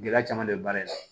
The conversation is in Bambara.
Gɛlɛya caman bɛ baara in na